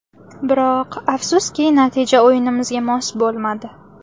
Biroq afsuski, natija o‘yinimizga mos bo‘lmadi.